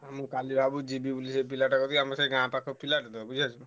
ମୁଁ କାଲି ଭାବୁଛି ଯିବି ବୋଲି ସେ ପିଲାଟା କତିକି ଆମ ସେଇ ଗାଁ ପାଖ ପିଲାଟେ ତ ବୁଝିପାରୁଛ।